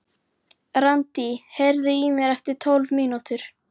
Randí, heyrðu í mér eftir tólf mínútur.